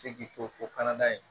Se k'i to fɔ kɔnɔda ye